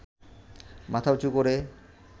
মাথা উঁচু করে